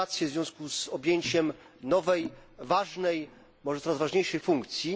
Gratulacje w związku z objęciem nowej, ważnej, może coraz ważniejszej, funkcji.